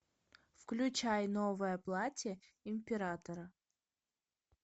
включай новое платье императора